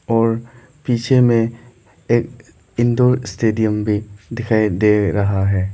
और पीछे में एक इंदौर स्टेडियम भी दिखाई दे रहा है।